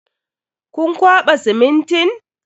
Kun kwaɓa simintin?